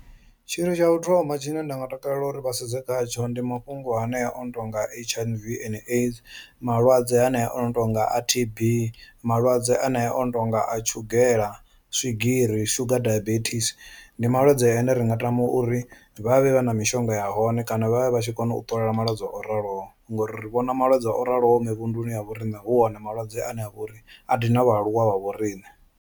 Tshithu tsha u thoma tshine nda nga takalela uri vha sedze khatsho ndi mafhungo ane a ono tonga H_I_V and AIDS, malwadze hanea ono tonga a T_B, malwadze anea ono tonga a tshugela, swigiri, sugar diabetes. Ndi malwadze ane ri nga tama uri vhavhe vha na mishonga ya hone kana vhavhe vha tshi kona u ṱolela malwadze o raloho, ngori ri vhona malwadze o raloho mivhunduni ya vho riṋe hu one malwadze ane a vha uri a thina vhaaluwa vha vho riṋe.